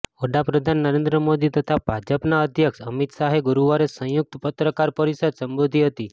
વડા પ્રધાન નરેન્દ્ર મોદી તથા ભાજપના અધ્યક્ષ અમિત શાહે ગુરુવારે સંયુક્ત પત્રકાર પરિષદ સંબોધી હતી